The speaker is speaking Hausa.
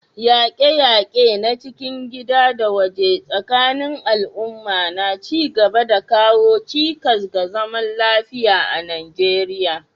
Yaƙe-yaƙe na cikin gida da waje tsakanin al'umma na ci gaba da kawo cikas ga zaman lafiya a Najeriya.